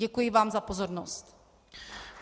Děkuji vám za pozornost.